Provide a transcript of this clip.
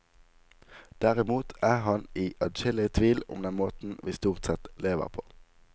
Derimot er han i adskillig tvil om den måten vi stort sett lever på.